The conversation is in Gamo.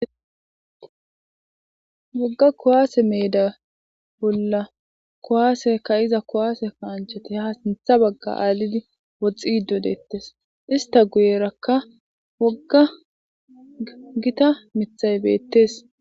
Wogga kowaase meeda bolla kowaaseka iza kowaase kaanchati ha sintha bagga aalidi woxxi dodettes ista guyerakka wogga gita mithay beettes.